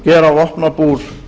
gera vopnabúr